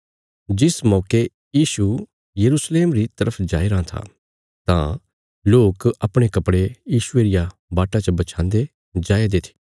जिस मौके यीशु यरूशलेम री तरफ जाईराँ था तां लोक अपणे कपड़े यीशुये रिया बाटा च बछांदे जायादे थे